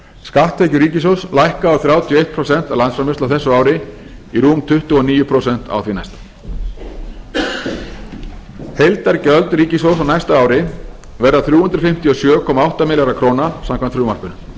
skatttekjur ríkissjóðs lækka úr þrjátíu og eitt prósent af landsframleiðslu á þessu ári í rúm tuttugu og níu prósent á því næsta heildargjöld ríkissjóð á næsta ári verða þrjú hundruð fimmtíu og sjö komma átta milljarðar króna samkvæmt frumvarpinu